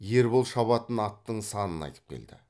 ербол шабатын аттың санын айтып келді